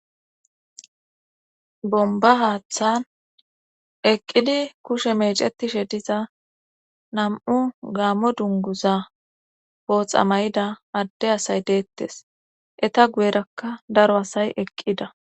Bomba haaththan eqqidi kushe meecetishe diza nam'u gaammo dunguza booxa mayida adde asay deettes eta guyerakka daro asay eqqida